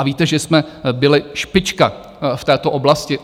A víte, že jsme byli špička v této oblasti?